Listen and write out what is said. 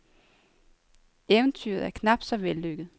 Eventyret er knapt så vellykket.